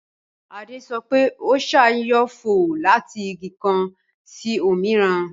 Adé sọ pé, Ọṣà yóò fò láti Igi kan sí òmíràn